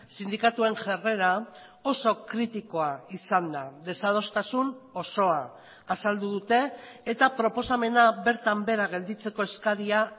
sindikatuen jarrera oso kritikoa izan da desadostasun osoa azaldu dute eta proposamena bertan behera gelditzeko eskaria